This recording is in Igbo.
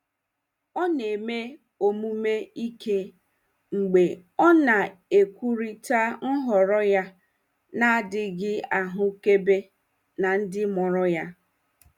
Ọ na-eme omume ike mgbe ọ na-ekwurịta nhọrọ ya na-adịghị ahụkebe na ndị mụrụ ya.